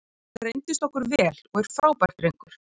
Hann reyndist okkur vel og er frábær drengur.